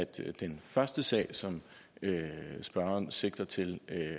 til den første sag som spørgeren sigter til